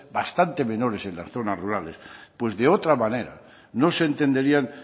bastantes menores en la zonas rurales pues de otra manera no se entenderían